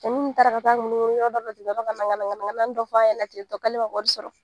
Cɛni taara k'a t'a munumunu yɔrɔ dɔ la k'aw ka ŋanaŋana ŋanaŋanani dɔ f'a k'ale ma wari sɔrɔ.